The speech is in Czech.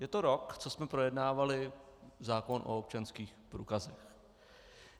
Je to rok, co jsme projednávali zákon o občanských průkazech.